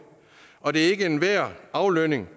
og det er ikke enhver aflønning